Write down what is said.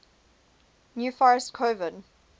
new forest coven